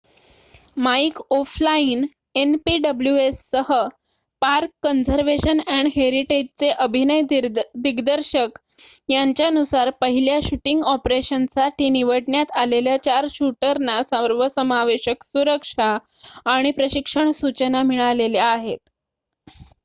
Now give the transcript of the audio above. mic O'Flynn npws सह park conservation and हेरिटेजचे अभिनय दिग्दर्शक यांच्यानुसार पहिल्या शूटिंग ऑपरेशनसाठी निवडण्यात आलेल्या चार शूटरना सर्वसमावेशक सुरक्षा आणि प्रशिक्षण सूचना मिळालेल्या आहेत